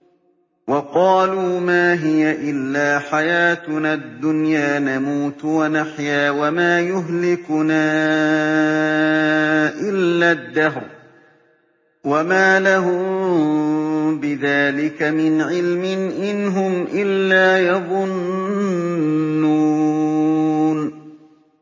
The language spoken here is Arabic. وَقَالُوا مَا هِيَ إِلَّا حَيَاتُنَا الدُّنْيَا نَمُوتُ وَنَحْيَا وَمَا يُهْلِكُنَا إِلَّا الدَّهْرُ ۚ وَمَا لَهُم بِذَٰلِكَ مِنْ عِلْمٍ ۖ إِنْ هُمْ إِلَّا يَظُنُّونَ